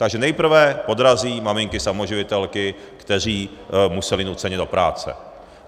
Takže nejprve podrazí maminky samoživitelky, které musely nuceně do práce.